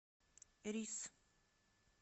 рис